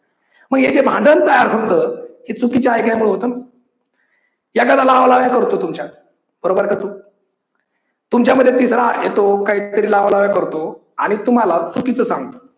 मग हे जे भांडण तयार होतं ते चुकीच्या ऐकल्यामुळे होतं. एखादा लावा लाव्या करतो तुमच्या बरोबर का चूक तुमच्यामध्ये तिसरा येतो काही तरी लावा लाव्या करतो आणि तुम्हाला चुकीच सांगतो.